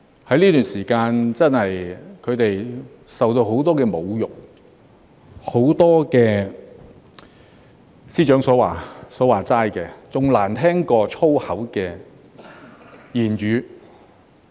在這段時間，他們真的受到很多侮辱，很多......即司長所說的"比髒話更難聽"的言語。